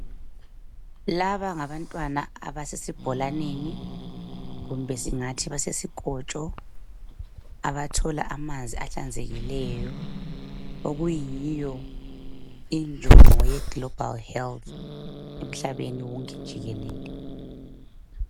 Laba ngabantwana abasesibholaneni kumbe singathi basesikotsho, abathola amanzi ahlanzekileyo, okuyiyo injongo ye global health emhlabeni wonke jikelele.